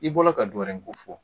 I bɔla ka dɔ wɛrɛ ko fɔ